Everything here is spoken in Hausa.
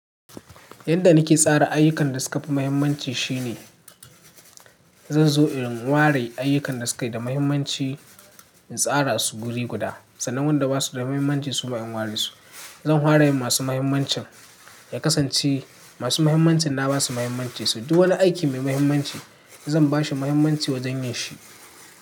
Yadda nake tsara ayyukan da suka fi mahimmanci shine zan zo in ware ayyukan da sukayi da mahimmanci in tsara su guri guda, sannan wanda basu da mahimmanci su ba in ware su. Zan ware masu mahimmancin, ya kasance masu mahimmancin na basu mahimmanci su. Duk wani aiki mai mahimmanci zan bashi mahimmanci wajen yin shi.